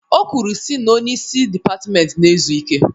O kwuru sị na onye isi dịpatment na-ezu ike